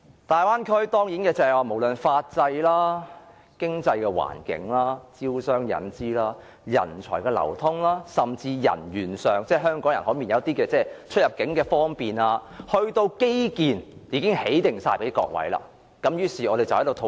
大灣區無論在法制、經濟環境、招商引資、人才流通甚至是人員流通，以至基建等方面，都已經為各位準備妥當，供我們討論。